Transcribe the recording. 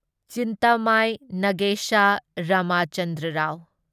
Chintamani Nagesa Ramachandra Rao